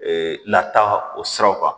Ee lataa o siraw kan